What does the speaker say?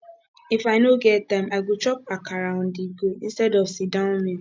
if i no get time i go chop akara onthego instead of sitdown meal